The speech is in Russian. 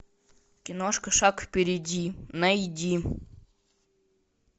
киношка шаг впереди найди